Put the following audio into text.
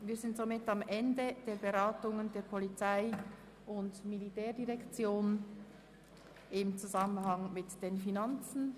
Wir sind am Ende der Beratung der POM-Geschäfte im Zusammenhang mit den Finanzen.